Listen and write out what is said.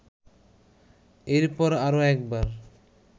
এরপর আরও একবার